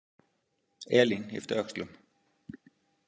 Elín yppti öxlum.